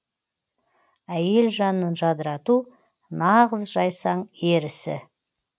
әйел жанын жадырату нағыз жайсаң ер ісі